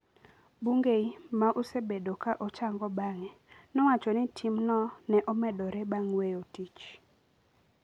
Bungei, ma osebedo ka ochango bang’e, nowacho ni timno ne omedore bang’ weyo tich.